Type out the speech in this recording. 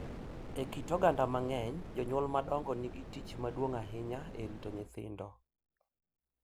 E kit oganda mang’eny, jonyuol madongo nigi tich maduong’ ahinya e rito nyithindo,